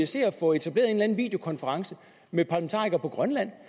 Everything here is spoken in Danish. se at få etableret en videokonference med parlamentarikere på grønland